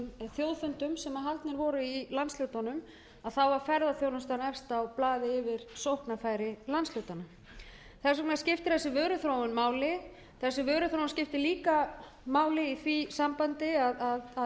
þjóðfundum sem haldnir voru í landshlutunum var ferðaþjónustan efst á blaði yfir sóknarfæri landshlutanna þess vegna skiptir þessi vöruþróun máli þessi vöruþróun skiptir líka máli í því sambandi að